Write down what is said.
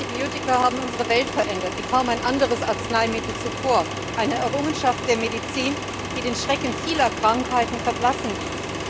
Antibiotika haben unsere Welt verändert, wie kaum ein anderes Arzneimittel zuvor eine Errungenschaft der Medizin, die den Schrecken vieler Krankheiten verblassen ließ.